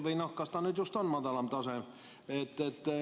Või kas ta nüüd just on madalam tase,.